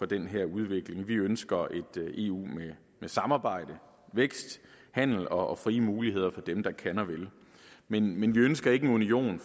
den her udvikling vi ønsker et eu med samarbejde vækst handel og frie muligheder for dem der kan og vil men men vi ønsker ikke en union